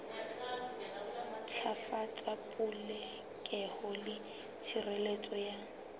ntlafatsa polokeho le tshireletso ya